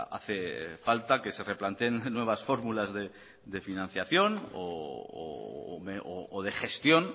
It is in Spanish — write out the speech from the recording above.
hace falta que se replanteen nuevas fórmulas de financiación o de gestión